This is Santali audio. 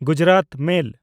ᱜᱩᱡᱽᱨᱟᱛ ᱢᱮᱞ